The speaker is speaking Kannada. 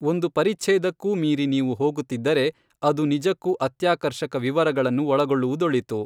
ಒಂದು ಪರಿಛ್ಛೇದಕ್ಕೂ ಮೀರಿ ನೀವು ಹೋಗುತ್ತಿದ್ದರೆ ಅದು ನಿಜಕ್ಕೂ ಅತ್ಯಾಕರ್ಷಕ ವಿವರಗಳನ್ನು ಒಳಗೊಳ್ಳುವುದೊಳಿತು!